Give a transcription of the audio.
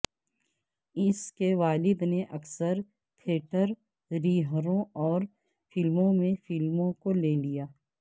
اس کے والد نے اکثر تھیٹر ریہروں اور فلموں میں فلموں کو لے لیا